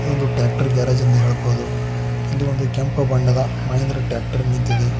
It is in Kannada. ಇದು ಟ್ರ್ಯಾಕ್ಟರ್ ಗ್ಯಾರೇಜ್ ಎಂದು ಹೇಳಬಹುದು ಇಲ್ಲಿ ಒಂದು ಕೆಂಪು ಬಣ್ಣದ ಮಹಿಂದ್ರ ಟ್ರ್ಯಾಕ್ಟರ್ ನಿಂತಿದೆ.